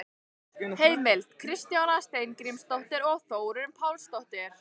Heimild: Kristjana Steingrímsdóttir og Þórunn Pálsdóttir.